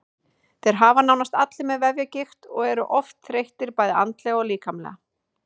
Þeir eru nánast allir með vefjagigt og eru oft þreyttir bæði andlega og líkamlega.